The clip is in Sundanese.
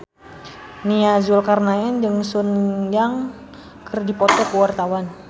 Nia Zulkarnaen jeung Sun Yang keur dipoto ku wartawan